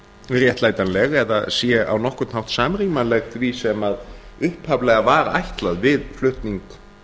réttlætanleg eða sé á nokkurn hátt samrýmanleg því sem upphaflega var ætlað við flutning